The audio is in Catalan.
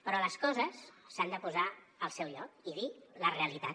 però les coses s’han de posar al seu lloc i dir la realitat